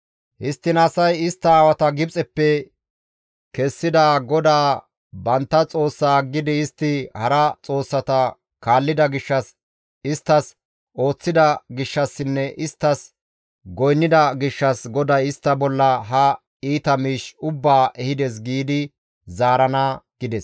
Histtiin asay, ‹Istta aawata Gibxeppe kessida GODAA bantta Xoossaa aggidi istti hara xoossata kaallida gishshas, isttas ooththida gishshassinne isttas goynnida gishshas GODAY istta bolla ha iita miish ubbaa ehides› giidi zaarana» gides.